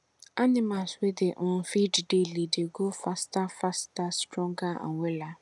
animals wey dey um feed daily dey grow faster faster stronger and wella